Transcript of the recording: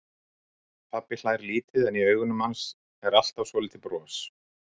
Pabbi hlær lítið en í augunum hans er alltaf svolítið bros.